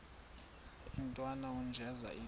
intwana unjeza ithi